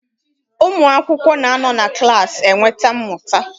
Ụmụ akwụkwọ na anọ na klaasị enweta mmụta.